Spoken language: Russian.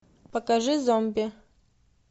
покажи зомби